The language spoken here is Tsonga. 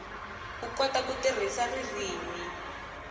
u kota ku tirhisa ririmi